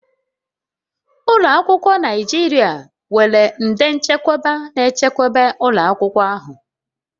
Ụlọ akwụkwọ Naijiria nwere nde nchekwa na-echekwa ụlọ akwụkwọ ahụ